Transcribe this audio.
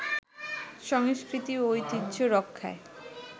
সংস্কৃতি ও ঐতিহ্য রক্ষায়